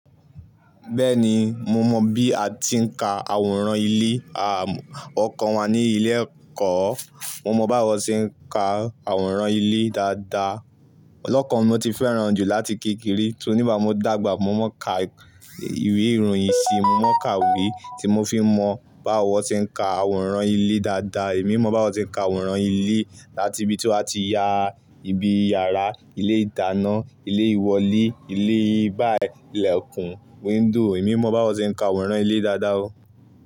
Bẹ́ẹ̀ni, mo mọ bí a ti ń ka àwòrán ilé. À, wọn kọ wà ní ilé ẹ̀kọ́. Mo mọ bí àwọn ṣe ń ka àwòrán ilé dáadáa. Ọlọ́kọ̀ wọn ni ó ti fẹ́ran jù láti kékeré, tó nígbà mo dàgbà mo máa ń ka ìwé ìròyìn ṣé, mo máa ń ka ìwé tí mo fi ń mọ bí wọn ṣe ń ka àwòrán ilé dáadáa. Èmi mọ bí wọn ṣe ń ka àwòrán ilé láti ibi tí wọ́n á ti ya ibi yàrá, ilé ìdáná, ilé ìwọlé, ilé báyìí, ilẹ̀kùn, window. Èmi mọ bí wọn ṣe ń ka àwòrán ilé dáadáa o.